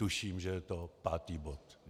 Tuším, že je to pátý bod.